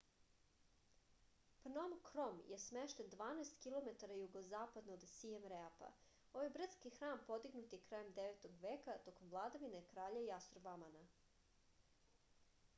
pnom krom je smešten 12 km jugozapadno od sijem reapa ovaj brdski hram podignut je krajem 9. veka tokom vladavine kralja jasorvamana